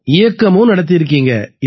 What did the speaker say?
இயக்கமும் நடத்தியிருக்கீங்க